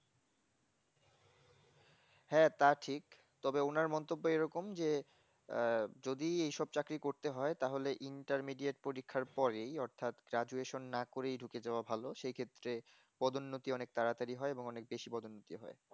হ্যাঁ তা ঠিক তবে ওনার মন্তব্য এরকম যে আহ যদি এই সব চাকারী করতে হয় তাহলে intermedia তে পরীক্ষার পরে অর্থাৎ graduation না করেই ঢুকে যাওয়া ভালো সেই ক্ষেত্রে পদোন্নতি অনেক তাড়াতাড়ি হয় এবং অনেক বেশি পদোন্নতি হয়